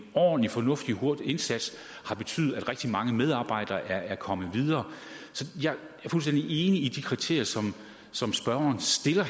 ordentlig fornuftig og hurtig indsats har betydet at rigtig mange medarbejdere er kommet videre så jeg er fuldstændig enig i de kriterier som som spørgeren stiller